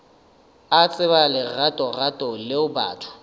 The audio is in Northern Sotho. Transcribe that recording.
a tseba leratorato leo batho